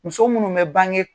Muso minnu bɛ bange